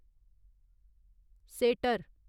shutter